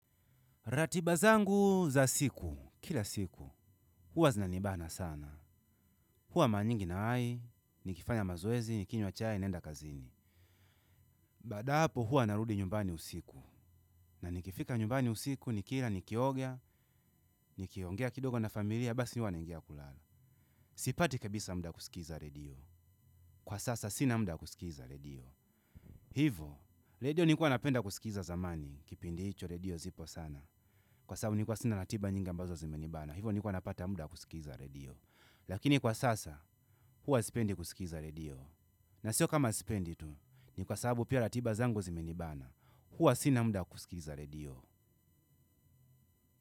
Ratiba zangu za siku, kila siku, huwa zinanibana sana. Hua mara nyingi nawahi, nikifanya mazoezi, nikinywa chai, naenda kazini. Baada ya hapo huwa narudi nyumbani usiku. Na nikifika nyumbani usiku nikila nikioga nikiongea kidogo na familia basi huwa naingia kulala. Sipati kabisa muda kusikiliza redio. Kwa sasa sina muda wa kusikiliza redio. Hivyo, redio nilikua napenda kusikiliza zamani, kipindi icho redio zipo sana. Kwa sababu nilikua sina ratiba nyingi mbazo zimenibana. Hivo nilikua napata muda wa kusikiliza redio. Lakini kwa sasa, huwa sipendi kusikiliza redio. Na sio kama sipendi tu, ni kwa sababu pia ratiba zangu zimenibana, huwa sina mda kusikiliza redio.